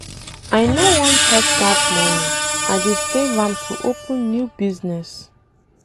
I no wan touch dat money, I dey save am to open new business.